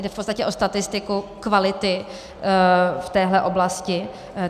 Jde v podstatě o statistiku kvality v téhle oblasti.